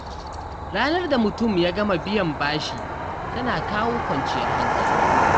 Ranar da mutum ya gama biyan bashi tana kawo kwanciyar hankali.